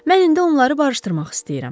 Mən indi onları barışdırmaq istəyirəm.